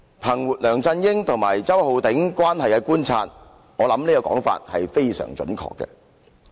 "憑着我對梁振英與周浩鼎議員的關係的觀察，我認為他的說法非常準確。